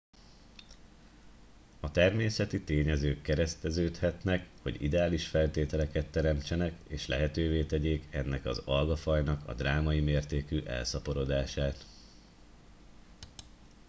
a természeti tényezők kereszteződhetnek hogy ideális feltételeket teremtsenek és lehetővé tegyék ennek az algafajnak a drámai mértékű elszaporodását